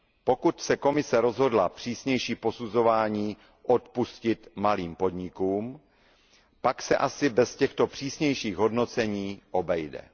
Pokud se Komise rozhodla přísnější posuzování odpustit malým podnikům, pak se asi bez těchto přísnějších hodnocení obejde.